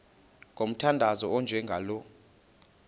ngomthandazo onjengalo nkosi